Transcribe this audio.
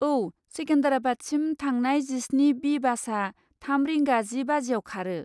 औ, सेकेन्दराबादसिम थांनाय जिस्नि बि बासआ थाम रिंगा जि बाजिआव खारो।